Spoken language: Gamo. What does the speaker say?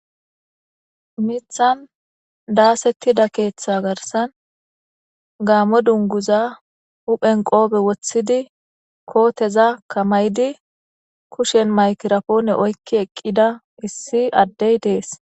Mithan daasettida keeththa garsan gaamo dunguza huphen qoobe woththidi kooteza kamaydi kushen maykirapoone oykki eqqida issi addey dees.